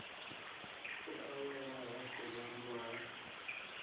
u awela hafhu rambo ha